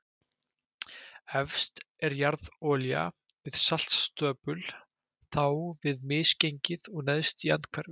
Efst er jarðolía við saltstöpul, þá við misgengi og neðst í andhverfu.